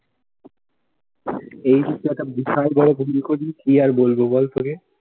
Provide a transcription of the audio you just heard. এই কি আর বলবো বল তোকে।